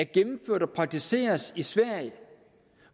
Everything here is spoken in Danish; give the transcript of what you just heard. gennemført og praktiseres i sverige